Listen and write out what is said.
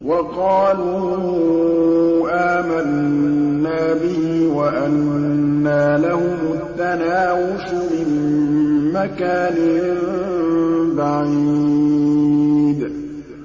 وَقَالُوا آمَنَّا بِهِ وَأَنَّىٰ لَهُمُ التَّنَاوُشُ مِن مَّكَانٍ بَعِيدٍ